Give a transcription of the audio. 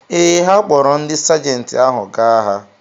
Ee, ha kpọọrọ ndị Sajenti ahụ gaa agha.